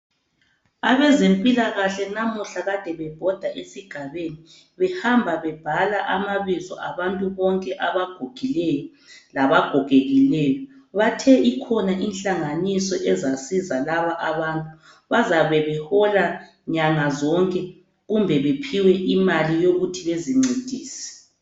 Abezempilakahle lamuhla kade bebhoda esigabeni behamba bebhala amabizo abantu bonke abagugileyo laba gogekileyo, bathe ikhona inhlanganiso ezasiza laba abantu bazabe behola inyanga zonke kumbe baphiwe imali yokuthi bazincedise.